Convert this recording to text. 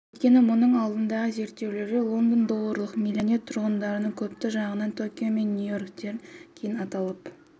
өйткені мұның алдындағы зерттеулерде лондон долларлық миллионер тұрғындарының көптігі жағынан токио мен нью-йорктен кейін аталып